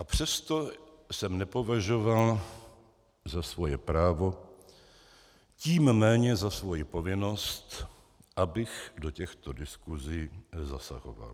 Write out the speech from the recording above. A přesto jsem nepovažoval za svoje právo, tím méně za svoji povinnost, abych do těchto diskusí zasahoval.